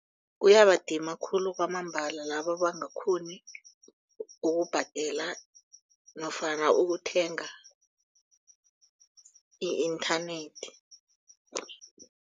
Kuyabadima khulu kwamambala laba abangakghoni ukubhadela nofana ukuthenga i-inthanethi.